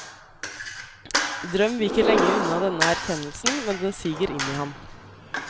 Drøm viker lenge unna denne erkjennelsen, men den siger inn i ham.